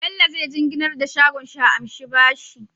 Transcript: Saini zai jinginnar da shagon shi a anshi bashi